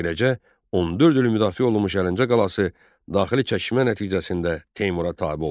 Beləcə, 14 il müdafiə olunmuş Əlincə qalası daxili çəkişmə nəticəsində Teymura tabe oldu.